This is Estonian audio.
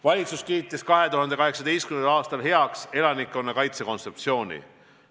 Valitsus kiitis 2018. aastal heaks elanikkonnakaitse kontseptsiooni.